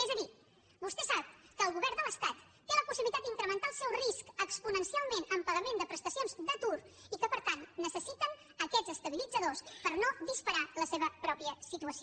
és a dir vostè sap que el govern de l’estat té la possibilitat d’incrementar el seu risc exponencialment amb pagament de prestacions d’atur i que per tant necessita aquests estabilitzadors per no disparar la seva pròpia situació